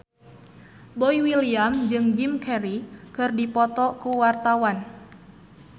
Boy William jeung Jim Carey keur dipoto ku wartawan